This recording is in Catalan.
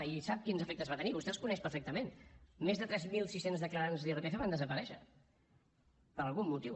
i sap quins efectes va tenir vostè els coneix perfectament més de tres mil sis cents declarants d’irpf van desaparèixer per algun motiu